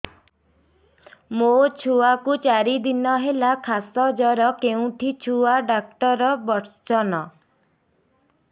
ମୋ ଛୁଆ କୁ ଚାରି ଦିନ ହେଲା ଖାସ ଜର କେଉଁଠି ଛୁଆ ଡାକ୍ତର ଵସ୍ଛନ୍